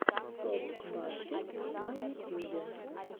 топ баскет на ютюбе